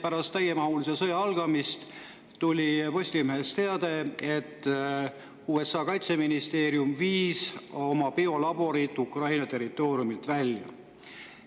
Pärast täiemahulise sõja algamist oli Postimehes teade, et USA kaitseministeerium viis oma biolaborid Ukraina territooriumilt välja.